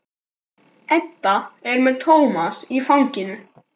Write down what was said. Edda er með Tómas í fanginu.